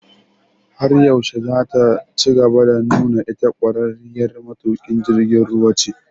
Har yaushe zataci gaba da nuna ita ƙwararriyar matuƙin jirgin ruwa ce?